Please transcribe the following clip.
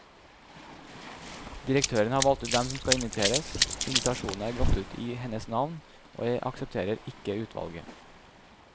Direktøren har valgt ut hvem som skal inviteres, invitasjonene er gått ut i hennes navn, og jeg aksepterer ikke utvalget.